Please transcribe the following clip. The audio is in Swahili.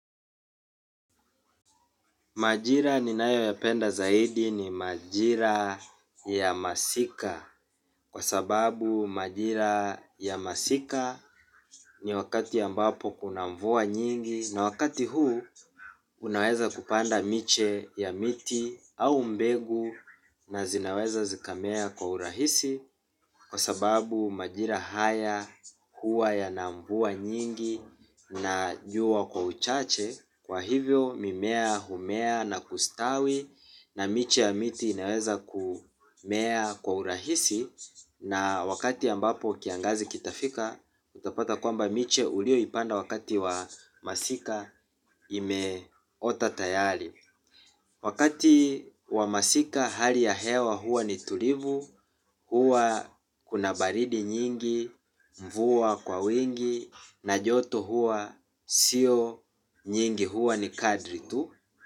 Majira ninayoyapenda zaidi ni majira ya masika kwa sababu majira ya masika ni wakati ambapo kuna mvua nyingi na wakati huu unaweza kupanda miche ya miti au mbegu na zinaweza zikamea kwa urahisi. Kwa sababu majira haya huwa yana mvua nyingi na jua kwa uchache. Kwa hivyo mimea humea na kustawi na miche ya miti inaweza kumea kwa urahisi. Na wakati ambapo kiangazi kitafika utapata kwamba miche ulioipanda wakati wa masika imeota tayari. Wakati wa masika hali ya hewa huwa ni tulivu, huwa kuna baridi nyingi mvua kwa wingi na joto huwa sio nyingi huwa ni kadri tu.